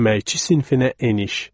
Əməkçi sinfinə eniş.